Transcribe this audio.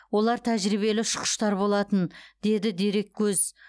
олар тәжірибелі ұшқыштар болатын деді дереккөз